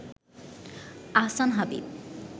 Ahsan Habib